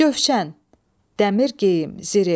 Cövşən, dəmir geyim, zireh.